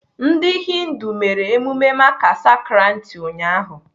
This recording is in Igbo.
Ndị Hindu mere emume Makar Sankranti ụnyaahụ.